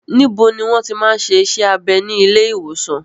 Níbo ni wọ́n ti máa ń ṣe iṣẹ́ abẹ ní ilé ìwòsàn yìí?